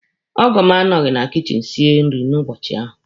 Ọgọ m anọghị na kichin sie nri n'ụbọchị ahụ.